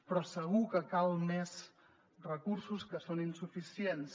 però segur que calen més recursos que són insuficients